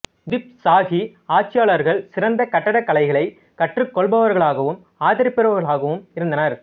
குதுப் ஷாஹி ஆட்சியாளர்கள் சிறந்த கட்டிடக் கலைகளை கற்றுக் கொள்பவர்களாகவும் ஆதரிப்பவர்களாகவும் இருந்தனர்